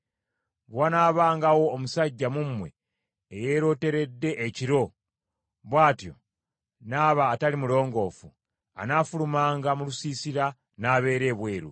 Bwe wanaabangawo omusajja mu mmwe eyeeroteredde ekiro, bw’atyo n’aba atali mulongoofu, anaafulumanga mu lusiisira n’abeera ebweru.